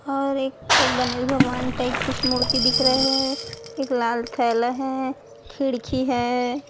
और एक को गनेश भगवान टाइप कुछ मूर्ति दिख रहा है एक लाल थैला है खिड़की है।